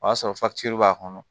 O y'a sɔrɔ b'a kɔnɔ